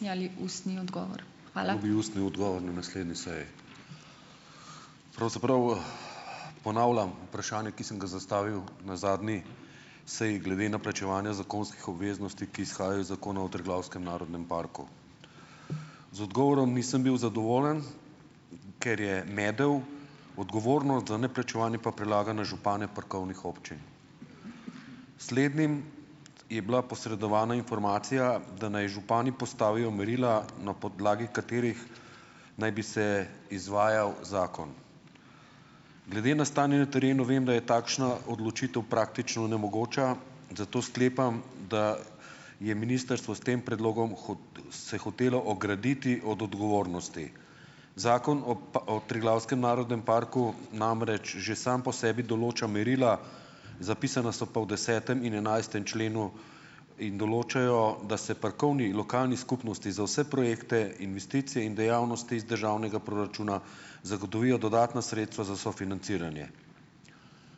... ustni odgovor na naslednji seji. Pravzaprav, ponavljam vprašanje, ki sem ga zastavil na zadnji seji glede na plačevanja zakonskih obveznosti, ki izhajajo iz Zakona o Triglavskem narodnem parku. Z odgovorom nisem bil zadovoljen, ker je medel, odgovornost za neplačevanje pa prelaga na župane parkovnih občin. Slednim je bila posredovana informacija, da naj župani postavijo merila, na podlagi katerih naj bi se izvajal zakon. Glede na stanje na terenu, vem, da je takšna odločitev praktično nemogoča, zato sklepam, da je ministrstvo s tem predlogom se hotelo ograditi od odgovornosti. Zakon o o Triglavskem narodnem parku namreč že sam po sebi določa merila, zapisana so pa v desetem in enajstem členu in določajo, da se parkovni lokalni skupnosti za vse projekte, investicije in dejavnosti iz državnega proračuna zagotovijo dodatna sredstva za sofinanciranje.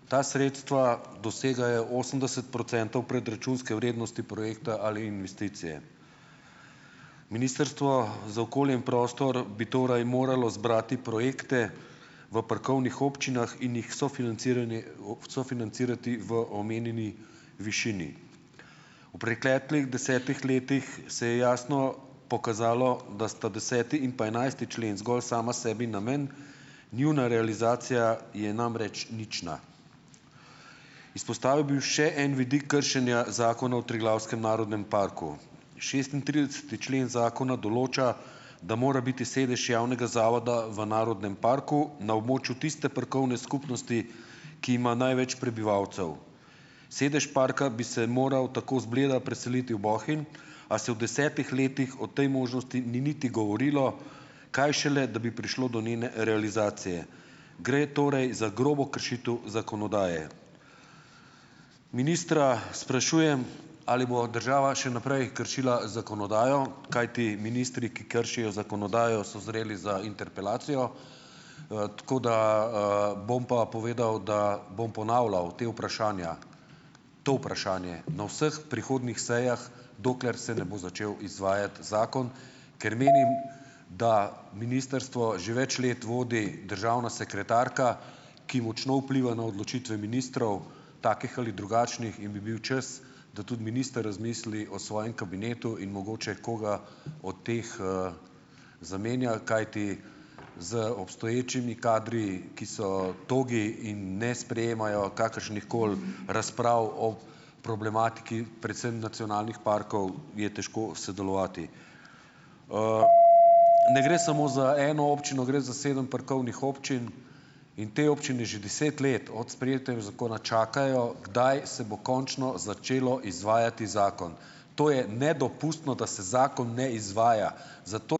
Ta sredstva dosegajo osemdeset procentov predračunske vrednosti projekta ali investicije. Ministrstvo za okolje in prostor bi torej moralo zbrati projekte v parkovnih občinah in jih sofinanciranje sofinancirati v omenjeni višini. V preteklih desetih letih, se je jasno pokazalo, da sta deseti in pa enajsti člen zgolj sama sebi namen, njuna realizacija je namreč nična. Izpostavil bi še en vidik kršenja Zakona o Triglavskem narodnem parku. Šestintrideseti člen zakona določa, da mora biti sedež javnega zavoda v narodnem parku, na območju tiste parkovne skupnosti, ki ima največ prebivalcev. Sedež parka bi se moral tako z Bleda preseliti v Bohinj, a se v desetih letih o tej možnosti ni niti govorilo, kaj šele, da bi prišlo do njene realizacije. Gre torej za grobo kršitev zakonodaje. Ministra sprašujem, ali bo država še naprej kršila zakonodajo. Kajti ministri, ki kršijo zakonodajo, so zreli za interpelacijo, tako da, bom pa povedal, da bom ponavljal ta vprašanja, to vprašanje na vseh prihodnjih sejah, dokler se ne bo začel izvajati zakon, ker menim, da ministrstvo že več let vodi državna sekretarka, ki močno vpliva na odločitve ministrov - takih ali drugačnih - in bi bil čas, da tudi minister razmisli o svojem kabinetu in mogoče koga od teh, zamenja, kajti z obstoječimi kadri, ki so togi in ne sprejemajo kakršnihkoli razprav o problematiki predvsem nacionalnih parkov, je težko sodelovati. Ne gre samo za eno občino, gre za sedem parkovnih občin in v tej občini že deset let od sprejetja zakona čakajo, kdaj se bo končno začelo izvajati zakon. To je nedopustno, da se zakon ne izvaja, zato ...